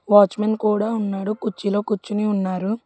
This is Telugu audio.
వాచ్మెన్ కూడా ఉన్నాడు కుర్చీలో కూర్చొని ఉన్నారు.